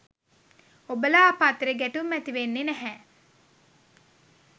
ඔබලා අප අතරෙ ගැටුම් ඇති වෙන්නෙ නැහැ.